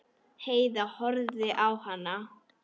Heiða horfði á hana.